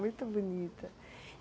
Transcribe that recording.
Muito bonita!